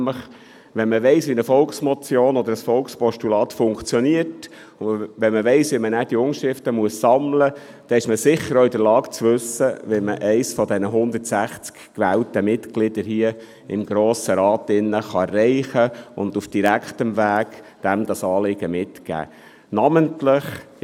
Wenn man nämlich weiss, wie eine Volksmotion oder ein Volkspostulat funktioniert und wie man diese Unterschriften sammeln muss, ist man sicher auch in der Lage zu wissen, wie man eines der 160 Mitglieder des Grossen Rats erreicht und ihm das Anliegen auf direktem Weg mitgibt.